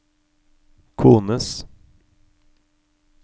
kones